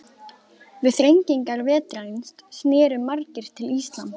Við þrengingar vetrarins snerust margir til íslam.